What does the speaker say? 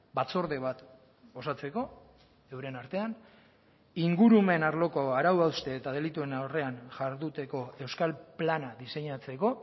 batzorde bat osatzeko euren artean ingurumen arloko arau hauste eta delituen aurrean jarduteko euskal plana diseinatzeko